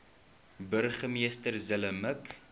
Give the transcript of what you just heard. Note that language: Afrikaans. burgemeester zille mik